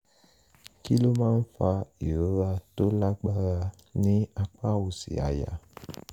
kí ló máa ń fa ìrora tó lágbára ní apá òsì àyà?